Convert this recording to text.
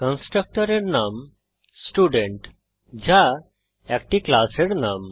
কন্সট্রকটরের নাম স্টুডেন্ট যা একটি ক্লাসের নাম